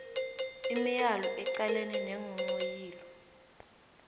imiyalo eqalene neenghonghoyilo